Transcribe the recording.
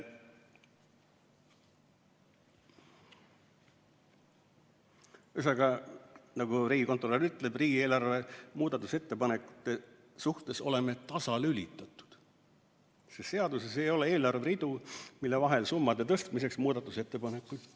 Ühesõnaga, nagu riigikontrolör ütleb, oleme riigieelarve muudatusettepanekute suhtes tasalülitatud, sest seaduses ei ole eelarveridu, mille vahel summade tõstmiseks muudatusettepanekuid teha.